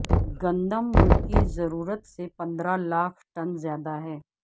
گندم ملکی ضرورت سے پندرہ لاکھ ٹن زیادہ ہے